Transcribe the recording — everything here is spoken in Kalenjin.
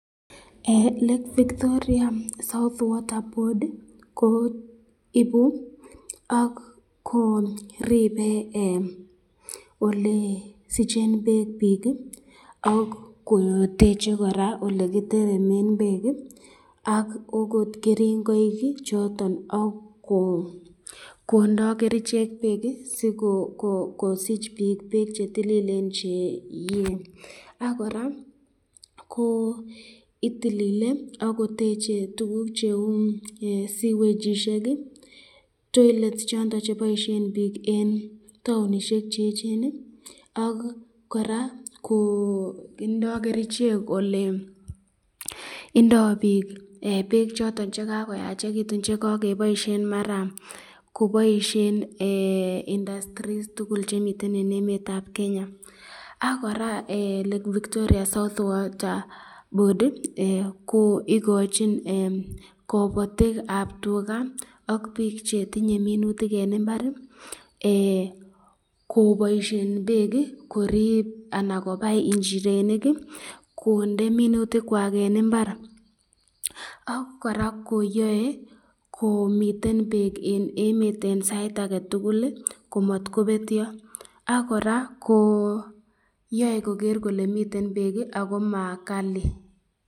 Lake Victoria south water board ko ibu ak ko ribe ole sichen bek bik, ak koteche koraa olekiteremen bek, ak okot keringaik choton ak kondo kerichek bek sikosich bik bek chetililen chekie, ak koraa ko itilile ako teche tukuk cheu sewagishek, toilets choton cheboisyen bik eng townishek cheechen, ak koraa ko indo kerichek ole indo bik bek choton chekakoyachekitun chekakeboisyen maran koboisyen industries tugul chemiten eng emetab Kenya, ak koraa lake Victoria south water board ko ikochin kabatikab tukaa ak bik chetinye minutik eng imbari koboisyen bek korib anan kobais inchirenik, konde minutik kwak eng imbar ak koraa koyae komiten bek eng emet eng sait ake tukul matkobetyo ,ak koraa yae ko nai kole miten bek ako ma Kali.